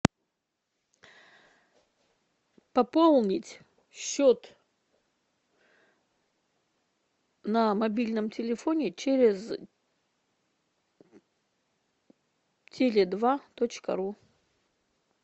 пополнить счет на мобильном телефоне через теле два точка ру